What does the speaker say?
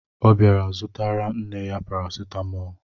Ọ bịara zụtara nne ya paracetamol